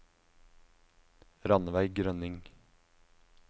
Ranveig Grønning